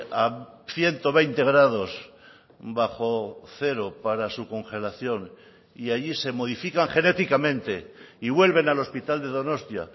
a ciento veinte grados bajo cero para su congelación y allí se modifican genéticamente y vuelven al hospital de donostia